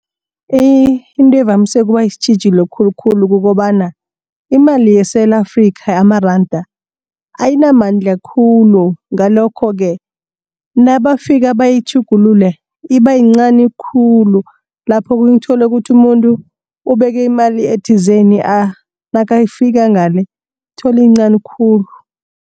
Into evamise ukuba sitjhijilo khulukhulu kukobana imali yeSewula Afrika amaranda ayinamandla khulu. Ngalokho-ke nabafika bayitjhugulule ibayincani khulu. Lapho okhunye uthole ukuthi umuntu ubeke imali ethizeni nakafika ngale ibayincani khulu.